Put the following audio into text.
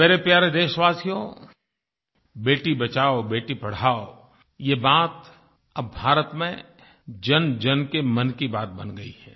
मेरे प्यारे देशवासियो बेटी बचाओ बेटी पढ़ाओ ये बात अब भारत में जनजन के मन की बात बन गयी है